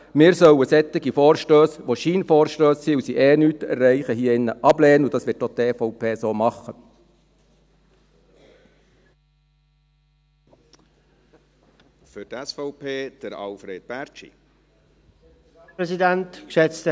Wir sollten solche Vorstösse hier in diesem Saal ablehnen, weil es Scheinvorstösse sind, weil sie sowieso nichts erreichen, und das wird auch die EVP so machen.